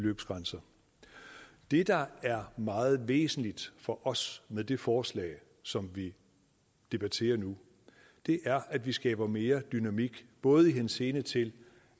beløbsgrænser det der er meget væsentligt for os med det forslag som debatteres nu er at vi skaber mere dynamik både i henseende til